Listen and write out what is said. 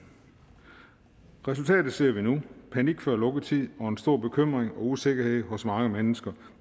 resultatet ser vi nu panik før lukketid og en stor bekymring og usikkerhed hos mange mennesker